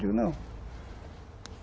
Eu digo, não.